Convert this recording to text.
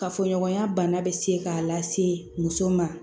Kafoɲɔgɔnya bana bɛ se k'a lase muso ma